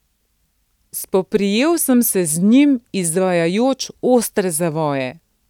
Spoprijel sem se z njim, izvajajoč ostre zavoje.